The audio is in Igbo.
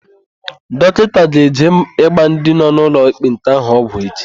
Dọkịta ga-eje ịgba ndị nọ n'ụlọ ekpenta ahụ ọgwụ echi.